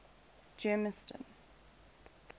germiston